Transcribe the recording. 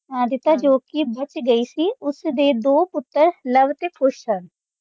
ਜੋਕਿ ਗਈ ਸੀ ਉਸਦੇ ਦੋ ਪੁੱਤਰ ਲਵ ਤੇ ਕੁਸ਼ ਸਨ